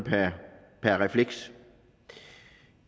per refleks